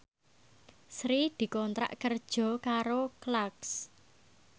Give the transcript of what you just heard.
Sri dikontrak kerja karo Clarks